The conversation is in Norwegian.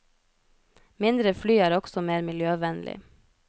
Mindre fly er også mer miljøvennlig.